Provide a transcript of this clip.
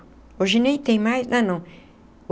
Hoje nem tem mais, não, não.